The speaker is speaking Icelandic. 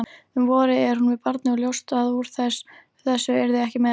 Um vorið er hún með barni og ljóst að úr þessu yrði ekki meira.